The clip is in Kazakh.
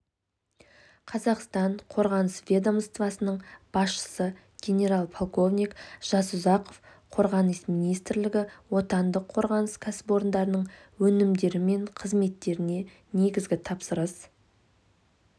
қазақстан қорғаныс ведомствосының басшысы генерал-полковник жасұзақов қорғаныс министрлігі отандық қорғаныс кәсіпорындарының өнімдері мен қызметтеріне негізгі тапсырыс